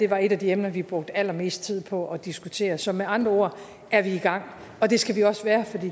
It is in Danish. var et af de emner vi brugte allermest tid på at diskutere så med andre ord er vi i gang og det skal vi også være for